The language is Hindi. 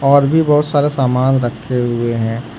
और भी बहुत सारे सामान रखे हुए हैं।